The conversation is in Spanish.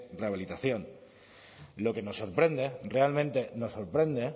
rehabilitación lo que nos sorprende realmente nos sorprende